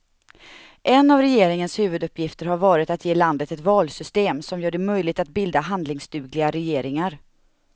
En av regeringens huvuduppgifter har varit att ge landet ett valsystem som gör det möjligt att bilda handlingsdugliga regeringar.